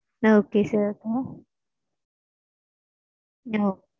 ah okay sir oh ah okay